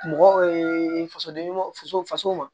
Mɔgɔ fasoden ɲumanw faso faso wa